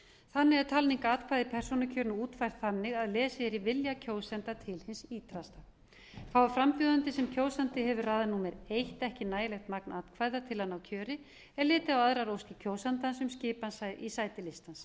þannig er talning atkvæða í persónukjörinu útfærð þannig að lesið er í vilja kjósenda til hins ýtrasta fái frambjóðandi sem kjósandi hefur raðað númer eitt ekki nægilegt magn atkvæða til að ná kjöri er litið á aðrar óskir kjósandans um skipan í sæti listans